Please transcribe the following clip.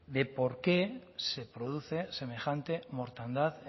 de por qué se produce semejante mortandad